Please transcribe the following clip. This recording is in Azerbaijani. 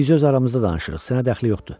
Biz öz aramızda danışırıq, sənə dəxli yoxdur.